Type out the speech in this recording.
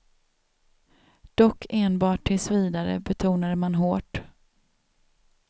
Dock enbart tills vidare, betonade man hårt.